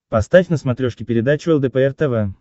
поставь на смотрешке передачу лдпр тв